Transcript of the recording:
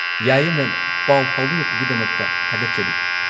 ꯌꯥꯏꯌꯦ, ꯃꯦꯝ꯫ ꯄꯥꯎ ꯐꯥꯎꯕꯤꯔꯛꯄꯒꯤꯗꯃꯛꯇ ꯊꯥꯒꯠꯆꯔꯤ꯫